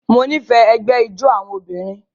Mo nifẹ ẹgbẹ ijó awọn obinrin